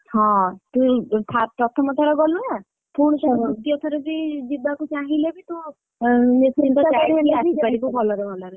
ହଁ ତୁ ପ୍ରଥମ ଥର ଗଲୁ ନା, ଯିବାକୁ ଚାହିଁଲେ ବି ତୁ ଭଲରେ ଭଲରେ।